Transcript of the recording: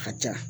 A ka ca